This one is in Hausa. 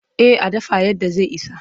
Eh a dafa yadda zai isa.